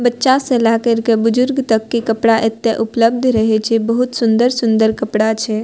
बच्चा से लेए करके बुजुर्ग तक के कपड़ा एते उपलब्ध रहे छै बहुत सुन्दर-सुन्दर कपड़ा छै।